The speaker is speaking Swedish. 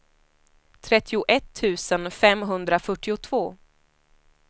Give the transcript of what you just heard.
trettioett tusen femhundrafyrtiotvå